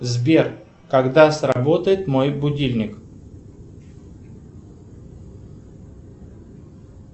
сбер когда сработает мой будильник